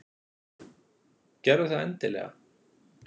Gerðu það endilega!